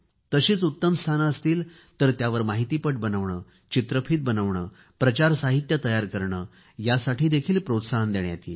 तशीच उत्तम स्थाने असतील तर त्यावर माहितीपट बनवणे चित्रफीत बनवणे प्रचार साहित्य तयार करणे यासाठी प्रोत्साहन देण्यात येईल